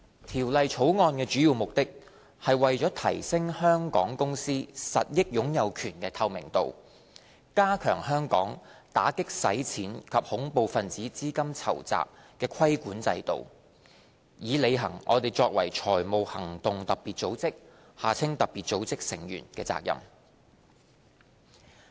《條例草案》的主要目的，是為了提升香港公司實益擁有權的透明度，加強香港打擊洗錢及恐怖分子資金籌集的規管制度，以履行我們作為財務行動特別組織成員的責任。